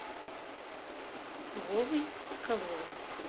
вовой соколовым